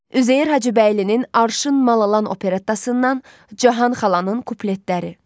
Üzeyir Hacıbəylinin Arşın Malalan operettasından Cahan xalanın kupletləri.